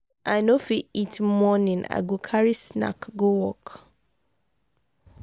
if i no fit eat morning i go carry snack go work.